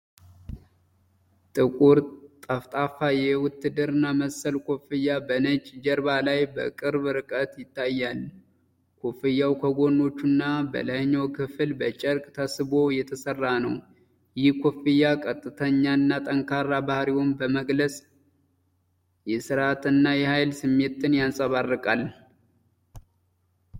ጥቁር፣ ጠፍጣፋ የውትድርና መሰል ኮፍያ በነጭ ጀርባ ላይ በቅርብ ርቀት ይታያል። ኮፍያው ከጎኖቹና በላይኛው ክፍል በጨርቅ ተስቦ የተሰራ ነው። ይህ ኮፍያ ቀጥተኛና ጠንካራ ባህሪውን በመግለጽ የሥርዓትና የኃይል ስሜትን ያንጸባርቃል።